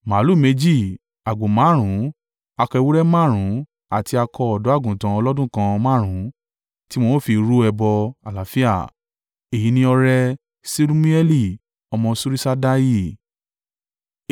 màlúù méjì, àgbò márùn-ún, akọ ewúrẹ́ márùn-ún àti akọ ọ̀dọ́-àgùntàn ọlọ́dún kan márùn-ún tí wọn ó fi rú ẹbọ àlàáfíà. Èyí ni ọrẹ Ṣelumieli ọmọ Suriṣaddai.